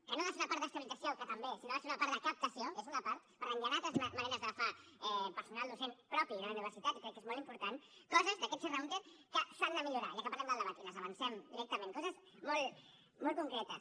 que no ha de ser una part d’estabilització que també sinó que ha de ser una part de captació que és una part per tant hi han altres maneres d’agafar personal docent propi de la universitat i crec que és molt important coses d’aquest serra húnter que s’han de millorar ja que parlem del debat i les avancem directament coses molt molt concretes